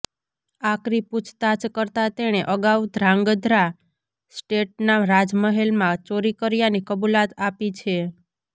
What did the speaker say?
આકરી પૂછતાછ કરતા તેણે અગાઉ ધ્રાંગઘ્રા સ્ટેટનાં રાજમહેલમાં ચોરી કર્યાની કબુલાત આપી છે